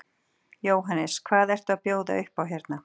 Jóhannes: Hvað eru að bjóða upp á hérna?